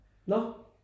Nårh?